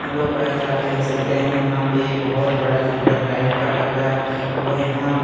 hello guys आप देख सकते हैं यहां पे बहुत बड़ा जंगल टाइप का लग रहा है और यहां --